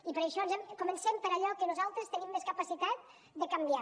i per això comencem per allò que nosaltres tenim més capacitat de canviar